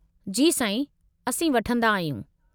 जी साईं, असीं वठंदा आहियूं।